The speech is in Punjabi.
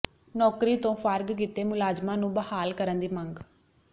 ਨੌਕਰੀ ਤੋਂ ਫਾਰਗ ਕੀਤੇ ਮੁਲਾਜ਼ਮਾਂ ਨੂੰ ਬਹਾਲ ਕਰਨ ਦੀ ਮੰਗ